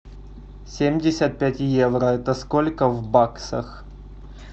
семьдесят пять евро это сколько в баксах